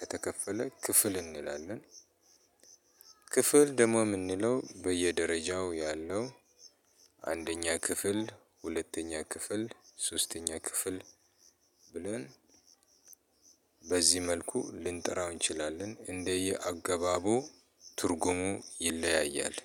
ከተከፈለ ክፍል እንላለን። ክፍል ደግሞ ምንለው በየደረጃው ያለው አንደኛ ክፍል ሁለተኛ ክፍል ሶስተኛ ክፍል ብለን። በዚህ መልኩ ልንጠራው እንችላለን እንደየ አገባቡ ትርጉሙ ይለያያል።